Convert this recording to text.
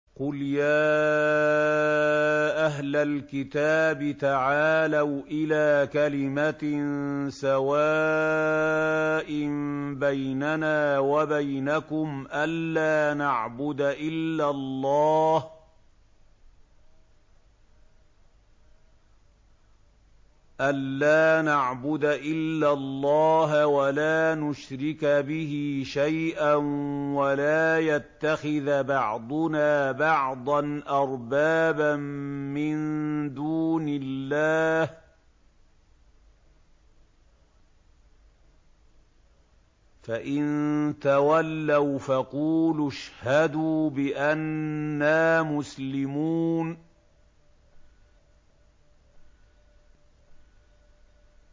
قُلْ يَا أَهْلَ الْكِتَابِ تَعَالَوْا إِلَىٰ كَلِمَةٍ سَوَاءٍ بَيْنَنَا وَبَيْنَكُمْ أَلَّا نَعْبُدَ إِلَّا اللَّهَ وَلَا نُشْرِكَ بِهِ شَيْئًا وَلَا يَتَّخِذَ بَعْضُنَا بَعْضًا أَرْبَابًا مِّن دُونِ اللَّهِ ۚ فَإِن تَوَلَّوْا فَقُولُوا اشْهَدُوا بِأَنَّا مُسْلِمُونَ